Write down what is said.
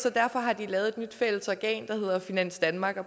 og derfor har de lavet et nyt fælles organ der hedder finans danmark og